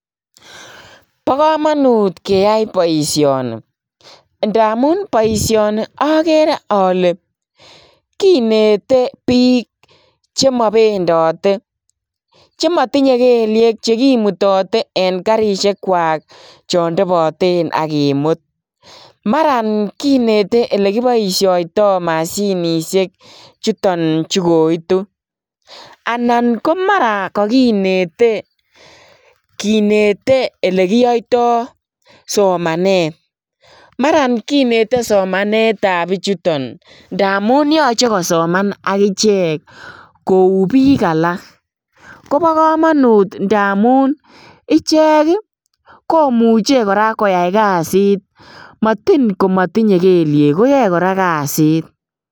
Bokomonut keyai boisioni ndamun boisioni okeree ole kinete bik chemobendote, chemotinye keliek chekimutote en karishekwak chon toboten ak kimut, maran kinete olekiboisiotoi moshinishek chuton chu koitu, anan ko maran kokinete kinete elekiyoito somanet maran kinete somanetab bichuton ndamun yoche kosoman akichek kou bik alak, kobokomonut ndamun ichek ii komuche koraa koyai kasit motin komotinye keliek koyoe koraa kasit.